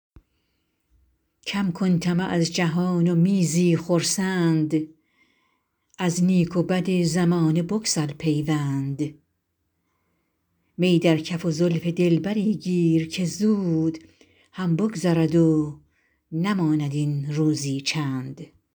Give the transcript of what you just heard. کم کن طمع از جهان و می زی خرسند از نیک و بد زمانه بگسل پیوند می در کف و زلف دلبری گیر که زود هم بگذرد و نماند این روزی چند